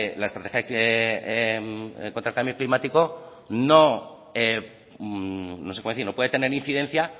la estrategia contra el cambio climático no puede tener incidencia